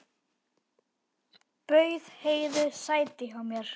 Bauð Heiðu sæti hjá mér.